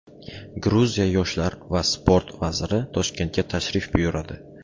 Gruziya yoshlar va sport vaziri Toshkentga tashrif buyuradi.